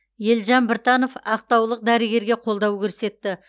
елжан біртанов ақтаулық дәрігерге қолдау көрсетті